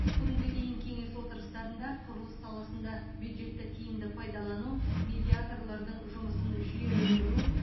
бүгінге дейін кеңес отырыстарында құрылыс саласында бюджетті тиімді пайдалану медиаторлардың жұмысын жүйелендіру